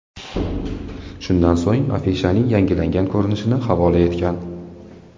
Shundan so‘ng afishaning yangilangan ko‘rinishini havola etgan.